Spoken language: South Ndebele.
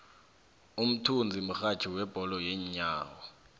umthunzi mrhatjhi webholo yeenyawo